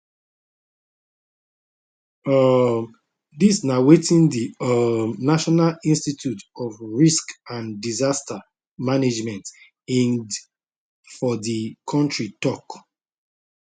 um dis na wetin di um national institute of risk and disaster management ingd for di kontri tok